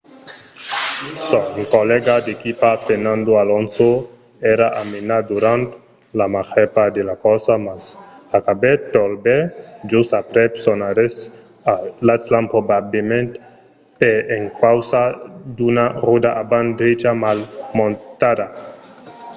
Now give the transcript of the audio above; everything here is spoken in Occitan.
son collèga d'equipa fernando alonso èra a menar durant la màger part de la corsa mas acabèt tot bèl just aprèp son arrèst a l'stand probablament per encausa d'una ròda avant-drecha mal montada